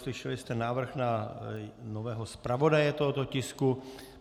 Slyšeli jsme návrh na nového zpravodaje tohoto tisku.